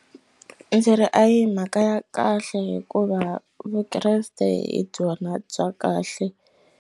Ndzi ri a hi mhaka ya kahle hikuva vukreste hi byona bya kahle.